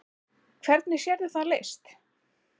Hvernig sérðu það leyst?